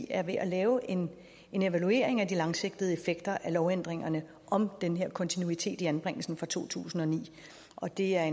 er ved at lave en evaluering af de langsigtede effekter af lovændringerne om den her kontinuitet i anbringelsen fra to tusind og ni og det er